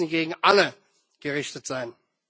Sie müssen gegen alle gerichtet sein!